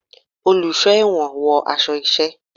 Oluso ẹwọ́n wọ aṣọ iṣẹ